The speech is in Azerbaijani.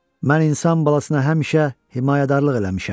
mən insan balasına həmişə himayədarlıq eləmişəm.